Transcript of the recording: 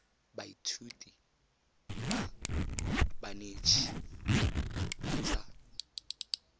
baithuti ba banetshi ba tsa